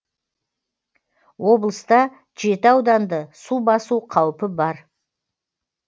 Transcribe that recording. облыста жеті ауданды су басу қаупі бар